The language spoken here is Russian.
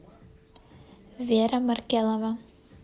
вера маркелова